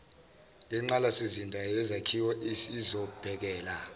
yengqalasizinda yezakhiwo isizobhekela